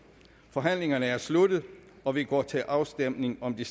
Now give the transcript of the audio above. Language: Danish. forhandlingen er sluttet og vi går til afstemning om de